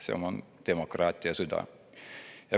See on demokraatia süda.